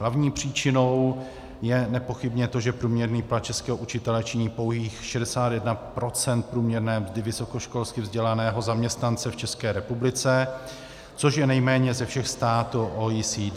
Hlavní příčinou je nepochybně to, že průměrný plat českého učitele činí pouhých 61 % průměrné mzdy vysokoškolsky vzdělaného zaměstnance v České republice, což je nejméně ze všech států OECD.